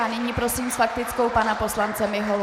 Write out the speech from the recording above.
A nyní prosím s faktickou pana poslance Miholu.